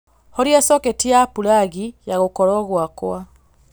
horia soketi ya pulagi ya gūkorūo gwakwa